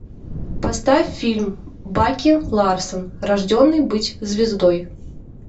поставь фильм баки ларсон рожденный быть звездой